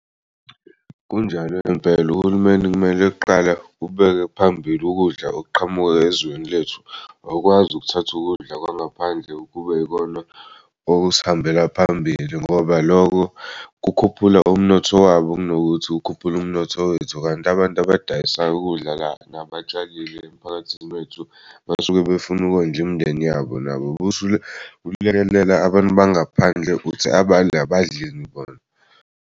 Kunjalo impela, uhulumeni kumele kuqala ubeke phambili ukudla okuqhamuka ezweni lethu awukwazi ukuthatha ukudla kwangaphandle kube yikona okusihambela phambili ngoba lokho kukhuphula umnotho wabo kunokuthi kukhuphule umnotho wethu. Kanti abantu abadayisayo ukudla la nabatshal'emiphakathini wethu basuke befuna ukondla imindeni yabo nabo bosulekelela abantu bangaphandle uthi abanye abadleni bona.